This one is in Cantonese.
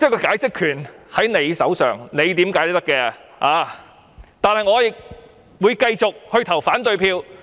解釋權在他們手上，怎樣解釋也可以，但我會繼續投反對票。